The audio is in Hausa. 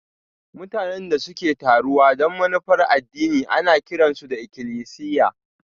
Mutanen da suke taruwa don manufar addini ana kiran su ikilisiya